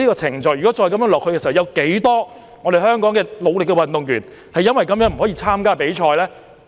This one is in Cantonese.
長此下去，有多少付出努力的香港運動員會不獲資格參加比賽呢？